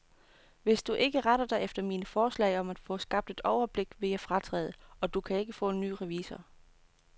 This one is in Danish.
Hvis du ikke retter dig efter mine forslag om at få skabt et overblik, vil jeg fratræde, og du kan ikke få en ny revisor.